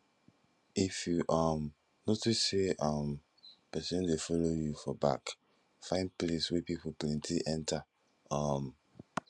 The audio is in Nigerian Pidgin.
if you um notice say um pesin dey follow you for back find place wey pipo plenty enter um